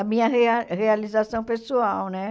A minha rea realização pessoal, né?